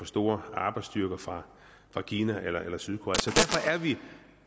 store arbejdsstyrker fra kina eller eller sydkorea